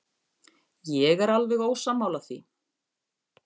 Ég er alveg ósammála því.